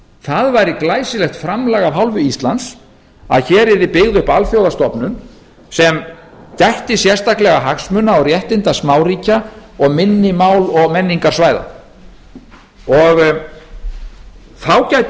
það væri glæsilegt framlag af hálfu íslands að hér yrði byggð upp alþjóðastofnun sem gætti sérstaklega hagsmuna og réttinda smáríkja og minni mál og menningarsvæða þá gæti